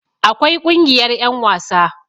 akwai Kungiyar yan wasa